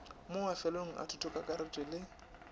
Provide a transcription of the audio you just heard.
mo mafelelong a thutokakaretšo le